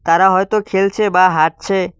তারা হয়তো খেলছে বা হাঁটছে।